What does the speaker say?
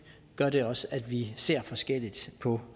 gør det også at vi ser forskelligt på